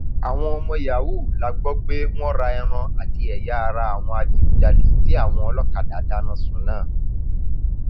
àwọn ọmọ yahoo la gbọ pé wọn ra ẹran àti ẹyà ara àwọn adigunjalè tí àwọn ọlọkadà dáná sun náà